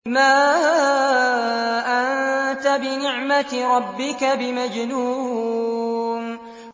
مَا أَنتَ بِنِعْمَةِ رَبِّكَ بِمَجْنُونٍ